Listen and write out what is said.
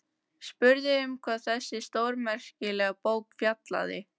Spurði um hvað þessi stórmerkilega bók fjallaði.